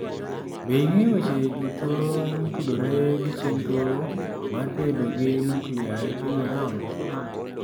Be ing'eyo weche duto motudore gi chenro mar bedo gi nuklia e piny Iran?